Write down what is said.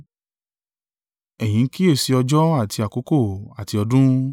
Ẹ̀yin ń kíyèsi ọjọ́ àti àkókò, àti ọdún.